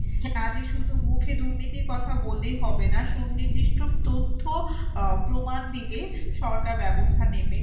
কাজেই শুধু মুখে দুর্নীতির কথা বললেই হবে না সুনির্দিষ্ট তথ্য প্রমাণ দিলে সরকার ব্যবস্থা নেবে।